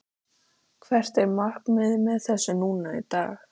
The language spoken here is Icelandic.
Hvert er markmiðið með þessu núna í dag?